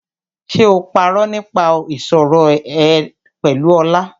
Ṣé o parọ́ nípa ìṣọ̀rẹ́ ẹ pẹ̀lú Ọlá?